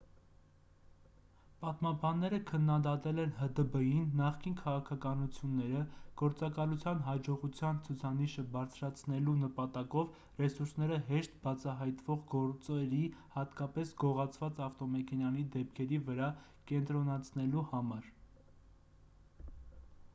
պատմաբանները քննադատել են հդբ-ի նախկին քաղաքականությունները գործակալության հաջողության ցուցանիշը բարձրացնելու նպատակով ռեսուրսները հեշտ բացահայտվող գործերի հատկապես գողացված ավտոմեքենաների դեպքերի վրա կենտրոնացնելու համար